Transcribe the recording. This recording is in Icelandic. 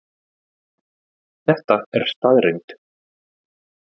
Þetta er staðreynd